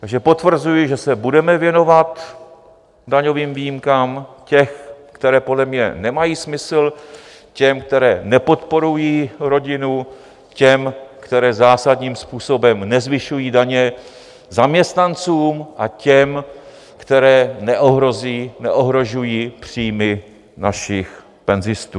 Takže potvrzuji, že se budeme věnovat daňovým výjimkám těm, které podle mě nemají smysl, těm, které nepodporují rodinu, těm, které zásadním způsobem nezvyšují daně zaměstnancům, a těm, které neohrožují příjmy našich penzistů.